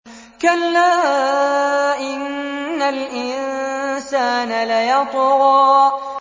كَلَّا إِنَّ الْإِنسَانَ لَيَطْغَىٰ